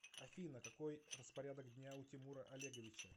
афина какой распорядок дня у тимура олеговича